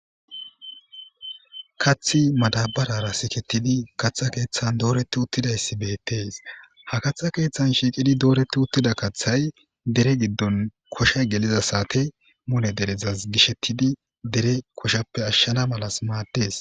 kaththi madabarara siketidi katha keeththan dooreti uttidayssi beettees, ha katha keeththan shiiqidi dooretti uttida kaththay dere giddon koshay geliza saate mule derezas gishettidi dere koshappe ashshana malas maaddes